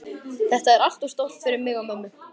Þetta er allt of stórt fyrir mig og mömmu.